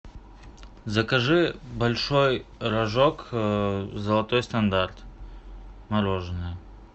закажи большой рожок золотой стандарт мороженое